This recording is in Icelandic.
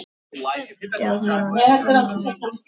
Flest pör